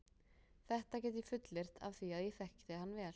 Þetta get ég fullyrt af því að ég þekkti hann vel.